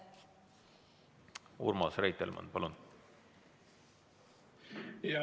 Urmas Reitelmann, palun!